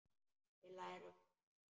Við lærum að lesa.